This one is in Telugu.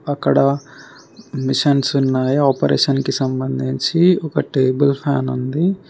అక్కడ మిషన్స్ ఉన్నాయి ఆపరేషన్ కి సంబంధించి ఒక టేబుల్ ఫ్యాన్ ఉంది.